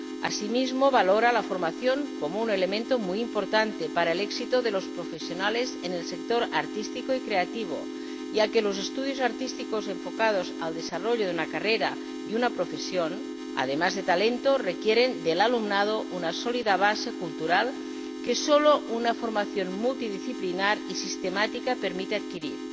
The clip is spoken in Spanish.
Asimismo, valora la formación como un elemento muy importante para el éxito de los profesionales en el sector artístico y creativo, ya que los estudios artísticos enfocados al desarrollo de una carrera y una profesión, además de talento, requieren del alumnado una sólida base cultural que solo una formación multidisciplinar y sistemática permite adquirir,